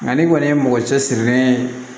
Nka n'i kɔni ye mɔgɔ cɛ sirilen ye